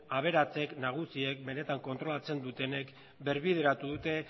aberatsek nagusiek benetan kontrolatzen dutenek birbideratu dute